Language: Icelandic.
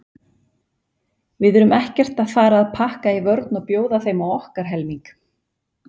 Við erum ekkert að fara að pakka í vörn og bjóða þeim á okkar helming.